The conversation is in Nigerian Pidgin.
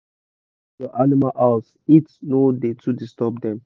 when air da enter ur animal house heat no da too disturb dem